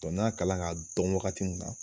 n'an y'a kalan ka dɔn wagati mun na